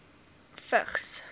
vigs